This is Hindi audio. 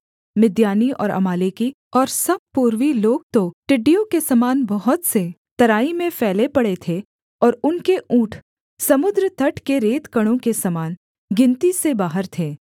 मिद्यानी और अमालेकी और सब पूर्वी लोग तो टिड्डियों के समान बहुत से तराई में फैले पड़े थे और उनके ऊँट समुद्र तट के रेतकणों के समान गिनती से बाहर थे